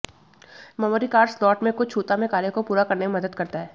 memory card slot में कुछ छूता में कार्य को पूरा करने में मदद करता है